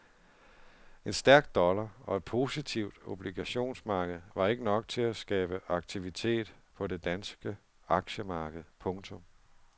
En stærk dollar og et positivt obligationsmarked var ikke nok til skabe aktivitet på det danske aktiemarked. punktum